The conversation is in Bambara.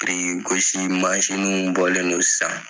Birikigosi mansinw bɔlen don sisan